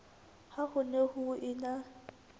ha ho ne ho ena